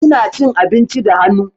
Ina cin abinci da hannu.